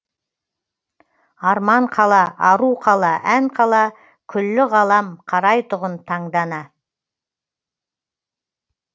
арман қала ару қала ән қала күллі ғалам қарайтұғын таңдана